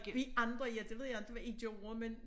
Vi andre ja det ved jeg ikke hvad i gjorde men